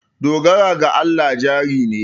Dogara ga Allah jari ne.